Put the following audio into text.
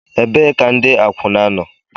Ebee ka ndi akwuna nọ?